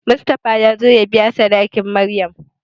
Mustapha ya zo ya biya sadakin Maryam.